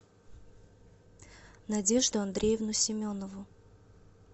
надежду андреевну семенову